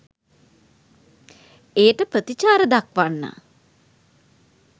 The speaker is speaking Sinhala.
එයට ප්‍රතිචාර දක්වන්න